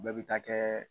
Bɛɛ bɛ taa kɛ